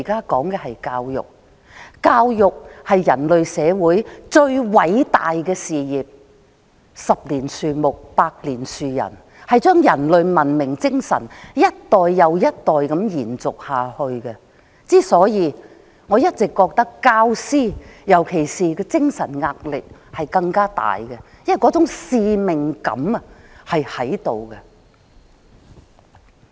教育是人類社會最偉大的事業，十年樹木，百年樹人，將人類的文明精神一代又一代的延續下去，所以我認為教師的精神壓力更加大，因為那種使命感是存在的。